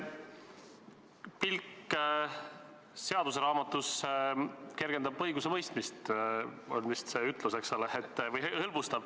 Pilk seaduseraamatusse kergendab õigusemõistmist, on vist selline ütlus, eks ole.